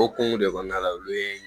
Okumu de kɔnɔna la olu ye